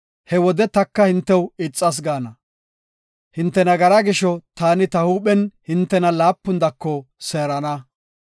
he wode taka hintew ixas gaana. Hinte nagaraa gisho taani ta huuphen hintena laapun dako seerana.